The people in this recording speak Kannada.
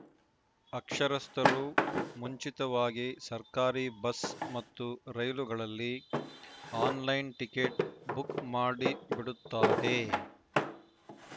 ಅಕ್ಷರಸ್ಥರು ಮುಂಚಿತವಾಗಿ ಸರ್ಕಾರಿ ಬಸ್‌ ಮತ್ತು ರೈಲುಗಳಲ್ಲಿ ಆನ್‌ಲೈನ್‌ ಟಿಕೆಟ್‌ ಬುಕ್‌ ಮಾಡಿಬಿಡುತ್ತಾರೆ